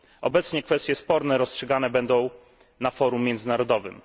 Obecnie kwestie sporne rozstrzygane będą na forum międzynarodowym.